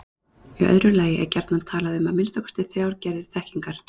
Í öðru lagi er gjarnan talað um að minnsta kosti þrjár gerðir þekkingar.